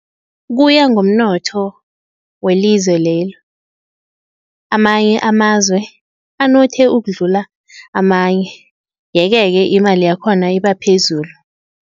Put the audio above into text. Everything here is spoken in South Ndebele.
Kuya ngomnotho welizwe lelo, amanye amazwe anothe ukudlula amanye yeke-ke imali yakhona ibaphezulu.